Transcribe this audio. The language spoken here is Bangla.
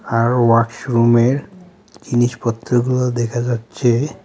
আর ওয়াশরুমের জিনিসপত্রগুলো দেখা যাচ্ছে.